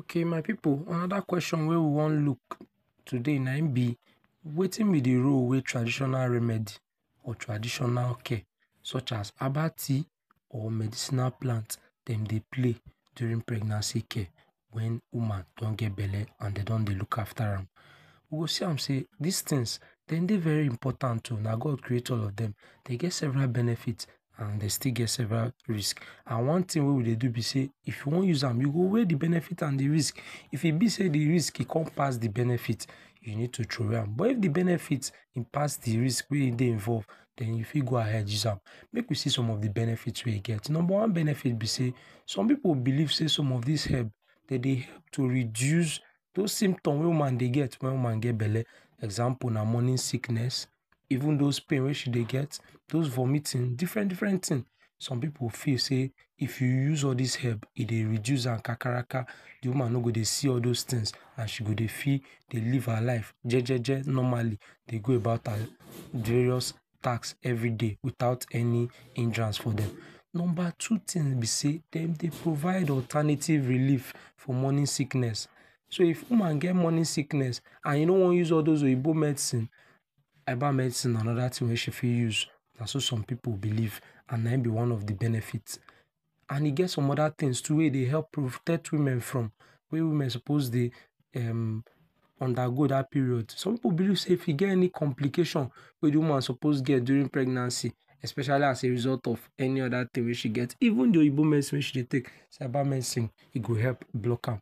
Okay my pipu another kwesion we wan look na im be wetin be de role wey traditional remedy or traditional care dey like herbal tea of medicinal plant dem dey play during pregnancy care when woman don get belle and dey don dey look after am. We go see am sey, these things dem dey very important oh na God create all of dem. Dey get several benefits and dey still get several risk. and one thing wey we dey do be sey, if you wan use am, you go weigh de benefits and de risk. If e be sey de risk come pass de benefits, you need to throway am. But if the benefits pass de risk, then you fit go ahead use am. Make we see some of de benefits wey im get. Number one benefit be sey some people believe sey some of these herbs dey dey to reduce those symptoms wey woman gets when e get belle. Example Morning sickness, even those pain we she dey get, those vomiting, and different different things. Some people feel sey, if you dey use all these herbs, e dey reduce am kakaraka. De woman dem no go dey see all those, and she go dey feel dey live her life, jeje, normally dey dey go about her various tasks everyday without any hindrance for them. Number two thing be sey dem dey provide alternative relief for morning sickness. So if woman get morning sickness and e no use all those oyibo medicine, herbal medicine na another thing wey she fit use, na so some pipu believe and na im be one of the benefits. And e get some other things too we dey help protect woman from wey women suppose dey um undergo that period. Some pipu believe sey if e get any complication we dey woman suppose get during pregnancy especially as a result of any other thing wey she gets, even though oyibo medicine wey she dey take, herbal medicine e go help block am.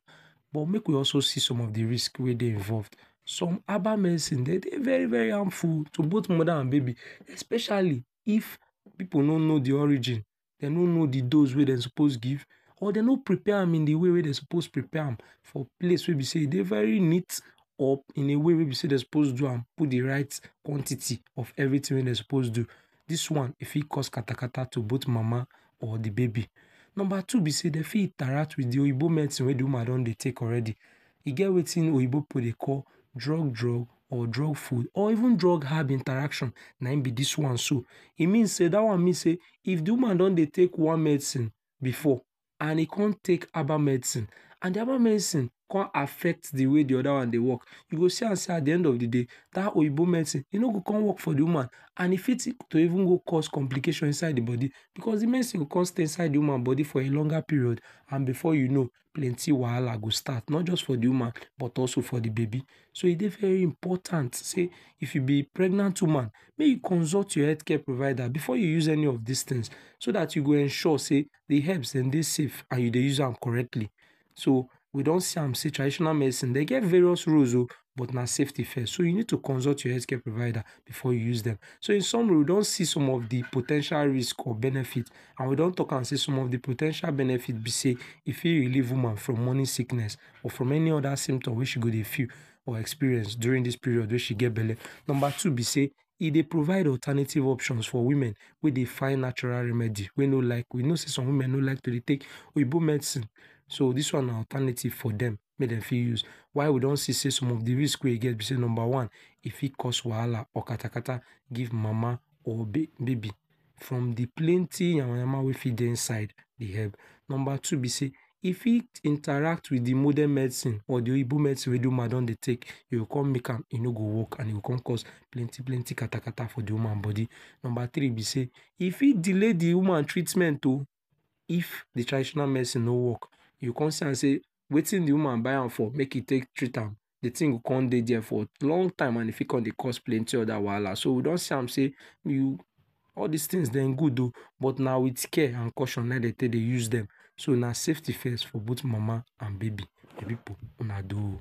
But make we also see some of de risk wey dey involved. Some herbal medicine dem dey very harmful to both mother na baby specially if pipu no know de origin, dem no know de dose wey dem suppose give or dem no prepare am in de way wey dey suppose prepare am for place wey be sey e dey very neat or in a way wey be sey dem suppose do a, put de right quantity of everything wey dem suppose do. This one fit cause katakata to both mama or de baby. Number two be sey dey fit interact with de oyibo medicine wey dey woman don dey take already. E get wetin oyibo pipu dey call drug-drug or drug- full or even drug hard interaction, na im be this one so. e mean say That one means sey if de woman don dey take one medicine before and e come take herbal medicine and de herbal medicine come affect de way de other one dey work you go see am sey at de end of de day, that oyibo medicine, e no go come work for de woman. And e fit to go cause complication inside de body because de medicine go come stay inside de woman body for a longer period and before you know plenty wahala go start. Not just for de woman but also for de baby. So e dey very important sey if you be pregnant woman, make you consult your health care provider before you use any of these things so that you go ensure sey de herbs dem dey important and you dey use am correctly. We don see am sey traditional medicine dey get various use o but na safety first. So you need to consult your health care provider before you use dem. So in summary, we don see some of de po ten tial risk and benefit and we don talk am sey some of de po ten tial benefits be sey e fit relieve woman from morning sickness, or from another symptom wey she go dey feel or experience during this period wey she gets belle. Number two be sey e dey provide alternative options for women we dey find natural remedy we no like; you know sey e get some women wey no like to dey take oyibo medicine. So this one na alternative for dem make dem fit use. While we do see sey some of the risk we e get be sey, number one; e fit cause wahala or katakata give mama and de baby from de plenty yamayama wey for dey inside de herb. Number two be sey e fit interact with de morden medicine or the oyibo medicine wey de woman don dey take. E go come make am, e no go work and e go come cause plenty katakata for de woman body. Number three be sey, e fit day de woman treatment oh if de traditional medicine no work. you go come see am sey wetin de woman buy am for make e take treat am the thing go come dey for long time and e fit come dey cause plenty other wahala. So we don see am sey all these things dem good oh but na with care and caution na im dey take dey use them. So na safety first for both mama and baby. My pipu, una do oh.